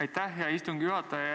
Aitäh, hea istungi juhataja!